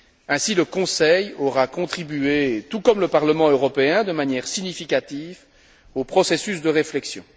Ainsi, le Conseil aura contribué, tout comme le Parlement européen, de manière significative au processus de réflexion.